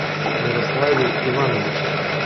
ярославе ивановиче